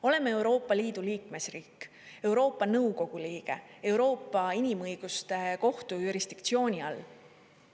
Oleme Euroopa Liidu liikmesriik, Euroopa Nõukogu liige, Euroopa Inimõiguste Kohtu jurisdiktsiooni all.